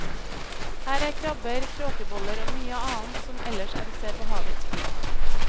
Her er krabber, kråkeboller og mye annet som ellers er å se på havets bunn.